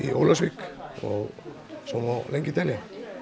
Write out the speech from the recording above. Ólafsvík og svo lengi telja